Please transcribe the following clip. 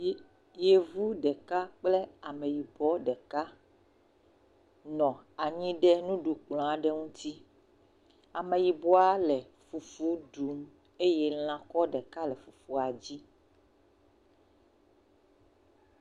le..Yevu ɖeka kple ameyibɔ ɖeka nɔ anyi ɖe nuɖukplɔ aɖe ŋuti, ameyibɔa le fufu ɖum eye lã kɔ ɖeka le fufua dzi.